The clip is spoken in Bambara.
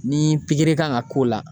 Ni kan ka k'o la.